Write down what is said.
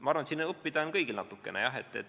Ma arvan, et siit on kõigil natukene õppida.